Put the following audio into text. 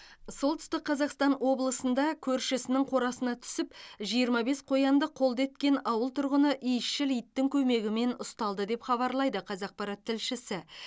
солтүстік қазақстан облысында көршісінің қорасына түсіп жиырма бес қоянды қолды еткен ауыл тұрғыны иісшіл иттің көмегімен ұсталды деп хабарлайды қазақпарат тілшісі